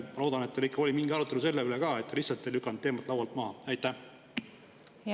Ma loodan, et teil ikka oli mingi arutelu selle üle, mitte te ei lükanud teemat lihtsalt laualt maha.